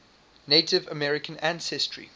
native american ancestry